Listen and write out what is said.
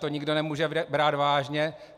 To nikdo nemůže brát vážně.